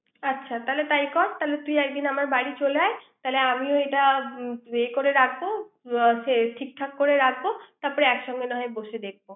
আচ্ছা তাহলে তাই কর তুই একদিন আমার বাড়ি চলে আয় তাহলে আমিও এটা এ করে রাখবো সে ঠিকঠাক করে রাখবো তারপরে একসঙ্গে না হয় বসে দেখব